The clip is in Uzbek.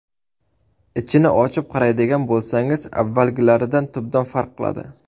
Ichini ochib qaraydigan bo‘lsangiz, avvalgilaridan tubdan farq qiladi.